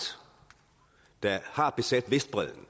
der har besat vestbredden